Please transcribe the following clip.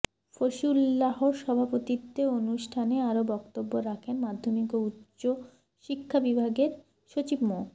ফসিউল্লাহ্র সভাপতিত্বে অনুষ্ঠানে আরো বক্তব্য রাখেন মাধ্যমিক ও উচ্চ শিক্ষা বিভাগের সচিব মো